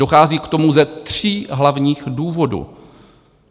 Dochází k tomu ze tří hlavních důvodů.